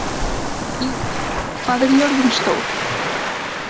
Íris, hvað er jörðin stór?